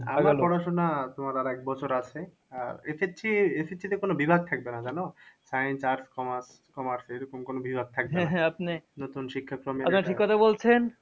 আমার পড়াশুনা তোমার আর এক বছর আছে আহ SSC তে কোনো বিভাগ থাকবে না জানো science, arts, commerce, commerce এরকম কোনো বিভাগ থাকবে